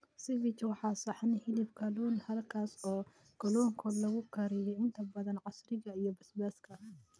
Cevich waa saxan hilib kalun halkaas oo kalluunku lagu kariyey inta badan casiirka iyo basbaaska.